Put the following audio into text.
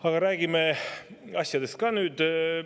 Aga räägime nüüd ka asjast.